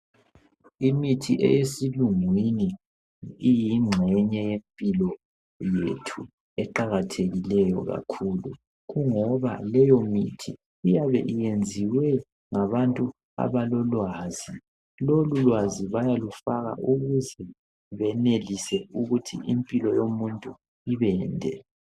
Imithi eyesilungu kimi iyigxenye yempilo yethu eqakathekileyo kakhulu Kungoba leyo mithi iyabe iyenziwe ngabantu abalolwazi .Lolu lwazi bayalufaka ukuze benelise ukuthi impilo yomuntu ibende